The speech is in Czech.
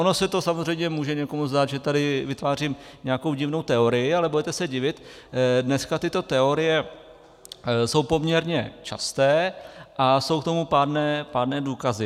Ono se to samozřejmě může někomu zdát, že tady vytvářím nějakou divnou teorii, ale budete se divit, dneska tyto teorie jsou poměrně časté a jsou k tomu pádné důkazy.